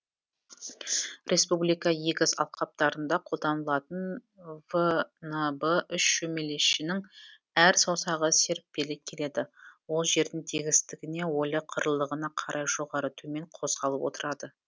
республика егіс алқаптарында қолданылатын внб үш шөмелешінің әр саусағы серіппелі келеді ол жердің тегістігіне ойлы қырлылығына қарай жоғары төмен қозғалып отырады